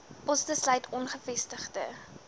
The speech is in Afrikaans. poste sluit ongevestigde